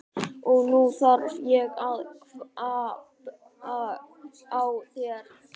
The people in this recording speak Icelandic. Og nú þarf ég að kvabba á þér!